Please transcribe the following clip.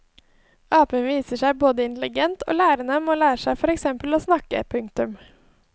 Apen viser seg både intelligent og lærenem og lærer seg for eksempel fort å snakke. punktum